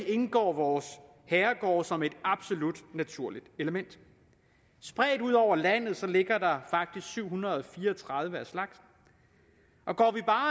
indgår vores herregårde som et absolut naturligt element spredt ud over landet ligger der faktisk syv hundrede og fire og tredive af slagsen og går vi bare